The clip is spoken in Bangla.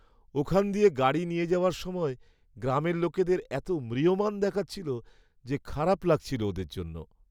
ওখান দিয়ে গাড়ি নিয়ে যাওয়ার সময় গ্রামের লোকদের এতো ম্রিয়মাণ দেখাচ্ছিল যে খারাপ লাগছিল ওদের জন্য।